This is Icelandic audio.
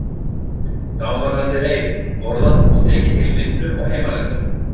Þá var haldið heim, borðað og tekið til við vinnu og heimalærdóm.